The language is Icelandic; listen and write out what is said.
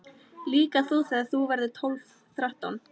Líka þú þegar þú verður tólf, þrettán.